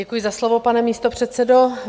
Děkuji za slovo, pane místopředsedo.